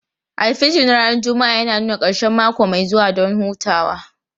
Alfijir na ranar Juma'a yana nuna ƙarshen mako mai zuwa don hutawa.